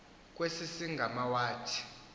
kwesi sigama wathi